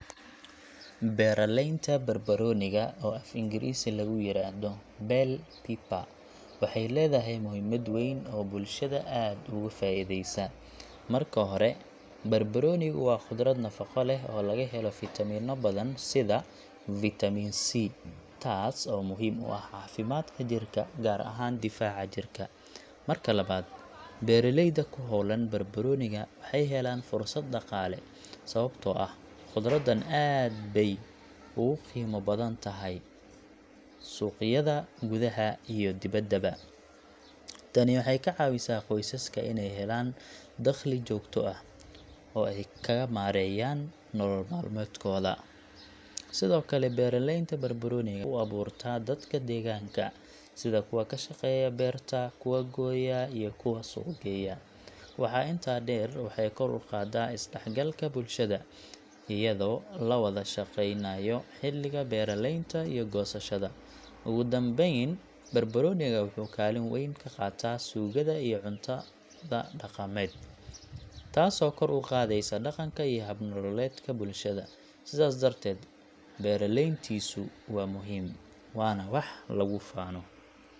Beeraleynta barbarooniga, oo af Ingiriisi lagu yiraahdo bell pepper, waxay leedahay muhiimad weyn oo bulshada aad ugu faa'iideysa. Marka hore, barbaroonigu waa khudrad nafaqo leh oo laga helo fiitamiinno badan sida Vitamin C, taas oo muhiim u ah caafimaadka jirka, gaar ahaan difaaca jirka. Marka labaad, beeraleyda ku hawlan barbarooniga waxay helaan fursad dhaqaale, sababtoo ah khudraddan aad bay ugu qiimo badan tahay suuqyada gudaha iyo dibaddaba. Tani waxay ka caawisaa qoysaska inay helaan dakhli joogto ah, oo ay kaga maareeyaan nolol maalmeedkooda. Sidoo kale, beeraleynta barbarooniga waxay shaqo u abuurtaa dadka deegaanka, sida kuwa ka shaqeeya beerta, kuwa gooya, iyo kuwa suuq geeya. Waxaa intaa dheer, waxay kor u qaadaa isdhexgalka bulshada, iyadoo la wada shaqeynayo xilliga beeraleynta iyo goosashada. Ugu dambeyn, barbarooniga wuxuu kaalin weyn ka qaataa suugada iyo cuntada dhaqameed, taasoo kor u qaadaysa dhaqanka iyo hab-nololeedka bulshada. Sidaas darteed, beeraleyntiisu waa muhiim, waana wax lagu faano.